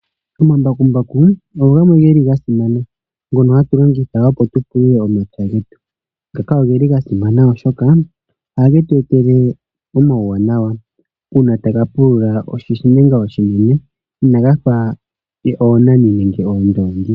Omambakumbaku ogo gamwe geli gasimana oshoka ohatu ga longitha mokupulula, ogeli haga pulula oshintenga oshinine shivulithe oonaani nenge oondongi.